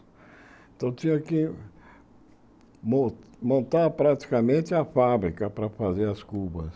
Então tinha que mon montar praticamente a fábrica para fazer as cubas.